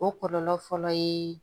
O kɔlɔlɔ fɔlɔ ye